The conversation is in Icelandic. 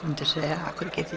myndi segja af hverju get